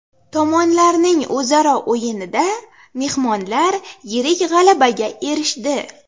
Tomonlarning o‘zaro o‘yinida mehmonlar yirik g‘alabaga erishdi.